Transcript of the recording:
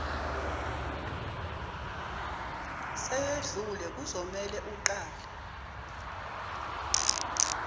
seyedlule kuzomele uqale